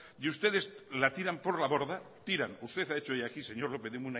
y ustedes la tiran por la borda tiran usted ha hecho hoy aquí señor lópez de